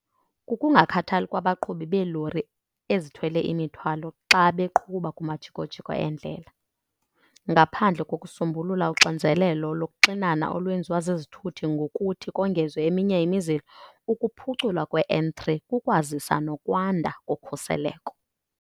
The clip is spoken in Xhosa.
kukungakhathali kwabaqhubi belori ezithwele imithwalo xa beqhuba kumajiko-jiko endlela. "Ngaphandle kokusombulula uxinzelelo lokuxinana olwenziwa zizithuthi ngokuthi kongezwe eminye imizila, ukuphuculwa kwe-N3 kukwazisa nokwanda kokhuseleko."